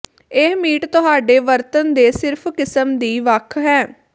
ਇਹ ਮੀਟ ਤੁਹਾਡੇ ਵਰਤਣ ਦੇ ਸਿਰਫ ਕਿਸਮ ਦੀ ਵੱਖ ਹੈ